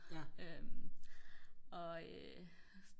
og